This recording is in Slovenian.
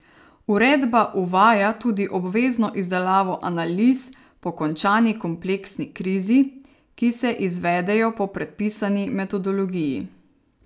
Uredba uvaja tudi obvezno izdelavo analiz po končani kompleksni krizi, ki se izvedejo po predpisani metodologiji.